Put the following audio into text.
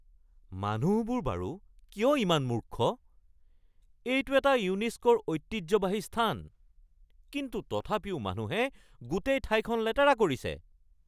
মানুহবোৰ বাৰু কিয় ইমান মূৰ্খ? এইটো এটা ইউনেস্কোৰ ঐতিহ্যবাহী স্থান কিন্তু তথাপিও মানুহে গোটেই ঠাইখন লেতেৰা কৰিছে।